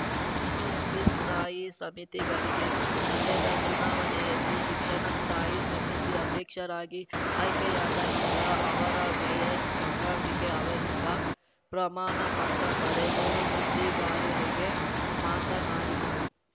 BBMP ಸ್ಥಾಯಿ ಸಮಿತಿಗಳಿಗೆ ನಡೆದ ಚುನಾವಣೆಯಲ್ಲಿ ಶಿಕ್ಷಣ ಸ್ಥಾಯಿ ಸಮಿತಿ ಅಧ್ಯಕ್ಷರಾಗಿ ಆಯ್ಕೆಯಾದ ನಂತರ ಅವರ ಮೇಯರ್‌ ಗಂಗಾಂಬಿಕೆ ಅವರಿಂದ ಪ್ರಮಾಣ ಪತ್ರ ಪಡೆದು ಸುದ್ದಿಗಾರಾರಿಗೆ ಮಾತನಾಡಿದರು